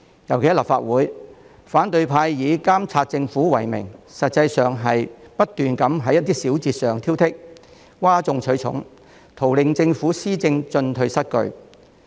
尤其是在立法會，反對派以監察政府為名，實際上不斷在一些小節上挑剔，譁眾取寵，圖令政府施政進退失據。